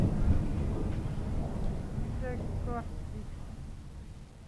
Kigitekchi koot sigiik